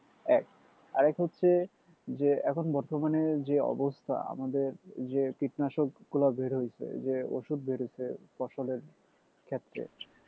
এক আরেক হচ্ছে যে এখন বর্তমানে যে অবস্থা আমাদের যে কীটনাশকগুলো বের হইছে যে অসুধ বের হইছে ফসলের ক্ষেত্রে